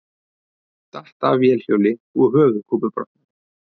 Datt af vélhjóli og höfuðkúpubrotnaði